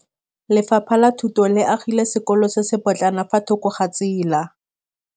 Lefapha la Thuto le agile sekôlô se se pôtlana fa thoko ga tsela.